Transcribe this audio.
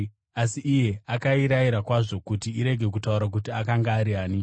Asi iye akairayira kwazvo kuti irege kutaura kuti akanga ari ani.